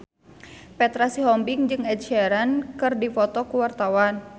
Petra Sihombing jeung Ed Sheeran keur dipoto ku wartawan